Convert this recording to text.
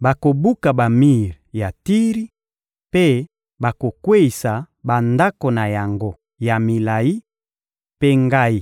Bakobuka bamir ya Tiri mpe bakokweyisa bandako na yango ya milayi; mpe Ngai,